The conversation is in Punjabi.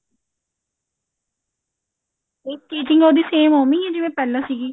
stitching ਉਹਦੀ same ਓਵੀੰ ਆ ਜਿਵੇਂ ਪਹਿਲਾਂ ਸੀਗੀ